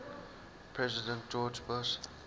president george bush